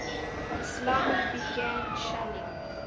islami began shelling